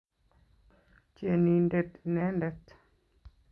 Tienindet inenedet